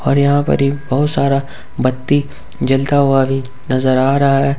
और यहां पर ही बहुत सारा बत्ती जलता हुआ भी नजर आ रहा है।